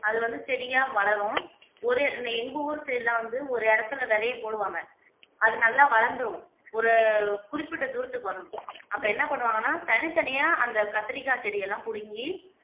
அது வந்து செடியா வளரும் ஒரு எங்க ஊர் side எல்லாம் வந்து ஒரு இடத்துல விதைய போடுவாங்க அது நல்லா வளந்துரும் ஒரு குறிப்பிட்ட தூரத்துக்கு வரும் அப்ப என்ன பண்ணுவாங்கன்னா தனித்தனியா அந்த கத்தரிக்காய் செடியெல்லாம் புடுங்கி